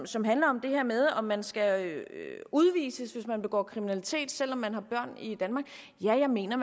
som handler om det her med om man skal udvises hvis man begår kriminalitet selv om man har børn i danmark jeg mener